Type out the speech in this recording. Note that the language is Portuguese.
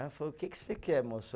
Ela falou, o que que você quer, moço?